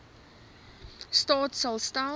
staat sal stel